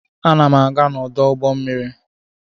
Ana m aga n'ọdụ ụgbọ mmiri.